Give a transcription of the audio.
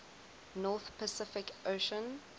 north pacific ocean